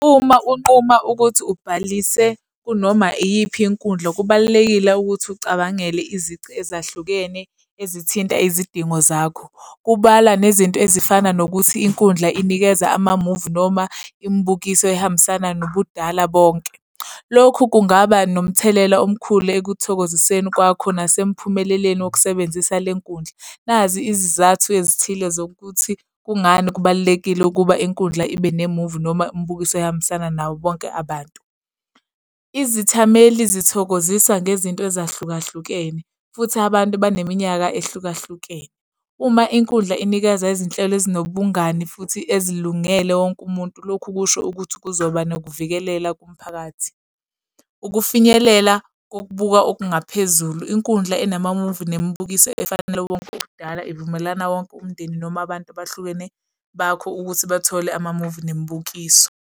Uma unquma ukuthi ubhalise kunoma iyiphi inkundla, kubalulekile ukuthi ucabangele izici ezahlukene ezithinta izidingo zakho, kubalwa nezinto ezifana nokuthi inkundla inikeza amamuvi noma imibukiso ehambisana nobudala bonke. Lokhu kungaba nomthelela omkhulu ekuthokoziseni kwakho nasemphumeleleni wokusebenzisa le nkundla. Nazi izizathu ezithile zokuthi kungani kubalulekile ukuba inkundla ibe nemuvi noma imibukiso ehambisana nabo bonke abantu. Izithameli zithokozisa ngezinto ezahlukahlukene, futhi abantu baneminyaka ehlukahlukene. Uma inkundla inikeza izinhlelo ezinobungani futhi ezilungele wonke umuntu, lokhu kusho ukuthi kuzoba nokuvikelela, kumphakathi. Ukufinyelela kokubuka okungaphezulu, inkundla enamamuvi nemibukiso efanele wonke okudala ivumelana wonke umndeni noma abantu abahlukene bakho ukuthi bathole amamuvi nemibukiso.